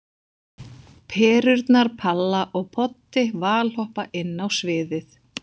Perurnar Palla og Poddi valhoppa inn á sviðið.